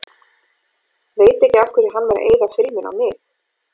Veit ekki af hverju hann var að eyða filmunni á mig.